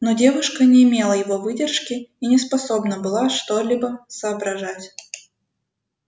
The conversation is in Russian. но девушка не имела его выдержки и не способна была что-либо соображать